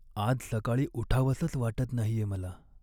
आज सकाळी उठावंसंच वाटत नाहीये मला.